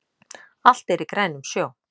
Allt er í grænum sjó